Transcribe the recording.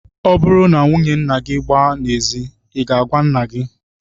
Ọ bụrụ na nwunye nna gị gbaa n'ezi, I ga-agwa nna gị?